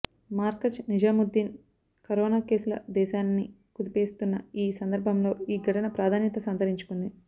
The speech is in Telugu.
మార్కజ్ నిజాముద్దీన్ కరోన కేసులు దేశాన్ని కుదిపేస్తున్న ఈ సందర్భంలో ఈ ఘటన ప్రాధాన్యత సంతరించుకుంది